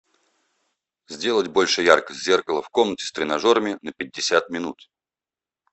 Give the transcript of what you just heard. сделать больше яркость зеркала в комнате с тренажерами на пятьдесят минут